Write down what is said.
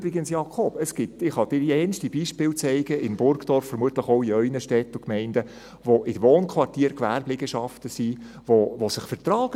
Übrigens, Jakob Etter, ich kann Ihnen verschiedenste Beispiele zeigen in Burgdorf, vermutlich auch in Ihren Städten und Gemeinden, wo in Wohnquartieren Gewerbeliegenschaften sind, die sich vertragen.